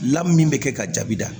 Lamin bɛ kɛ ka jaabi da